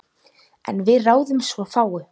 En við ráðum svo fáu.